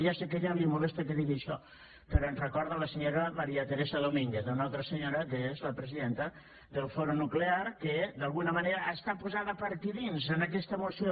ja sé que a ella li molesta que digui això però ens recorda la senyora maría teresa domínguez una altra senyora que és la presidenta del foro nuclear que d’alguna manera està posada per aquí dins en aquesta moció